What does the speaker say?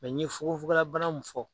n ye fugofugola bana min fɔ.